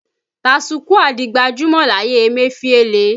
Tasukúà di gbajúmọ̀ láyé Emefiele